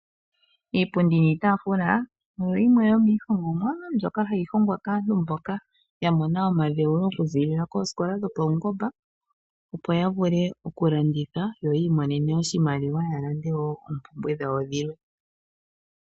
Iipundi niitaafula oyo yimwe yomiihongomwa mbyoka hayi hongwa kaantu mboka ya mona omadhewulo okuziilila koosikola dhopaungomba, opo ya vule okulanditha yo yi imonene oshimaliwa ya lande wo oompumbwe dhawo dhilwe.